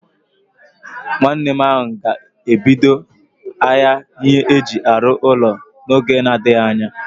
Nwanne m ga ebido ahịa ihe aji arụ ụlọ n'oge n'adịghị anya